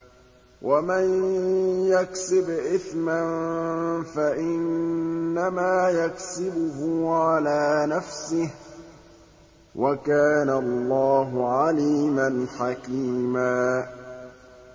وَمَن يَكْسِبْ إِثْمًا فَإِنَّمَا يَكْسِبُهُ عَلَىٰ نَفْسِهِ ۚ وَكَانَ اللَّهُ عَلِيمًا حَكِيمًا